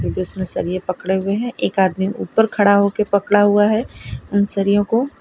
उसने सरिये पकड़े हुए हैं एक आदमी ऊपर पकड़ा हुआ है उन सरियों को।